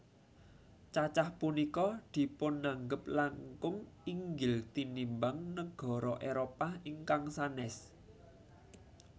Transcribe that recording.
Cacah punika dipunanggep langkung inggil tinimbang nagara Éropah ingkang sanès